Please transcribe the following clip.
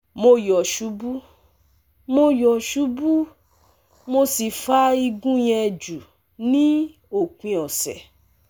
Mo yo subu, mo yo subu, mo si fa igun yen ju ni opin ọsẹ